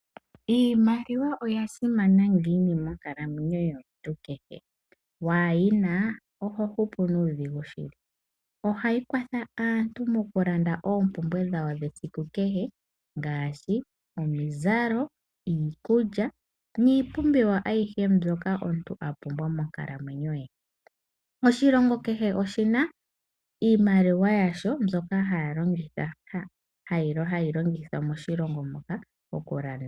Iimaliwa oya simana ngiini monkalamwenyo yomuntu kehe? Waa yi na oho hupu nuudhigu shili. Ohayi kwatha aantu mokulanda oompumbwe dhawo dhesiku kehe ngaashi: omizalo, iikulya niipumbiwa ayihe mbyoka omuntu a pumbwa monkalamwenyo ye. Oshilongo kehe oshi na iimaliwa yasho mbyoka hayi longithwa moshilongo moka okulanda.